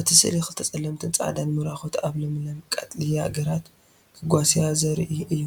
እቲ ስእሊ ክልተ ጸለምትን ጻዕዳን ምራኩት ኣብ ለምለም ቀጠልያ ግራት ክጓስዩ ዘርኢ እዩ።